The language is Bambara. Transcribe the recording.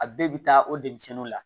A bɛɛ bɛ taa o denmisɛnninw la